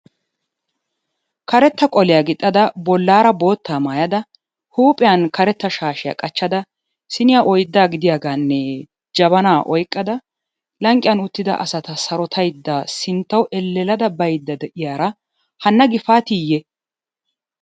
Karetta qoliyaa gixxada bollaara boottaa maayada, huuphiyaan karetta shaashshiya qachchada, siniyaa oydda gidiyaaganne jabana oyqqada lanqqiyan uttida asata sarottaydda sinttawu elelladda baydda de'iyaara hana Gifaatiyye?